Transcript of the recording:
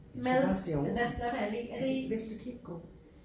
Med den der flotte allé er det ikke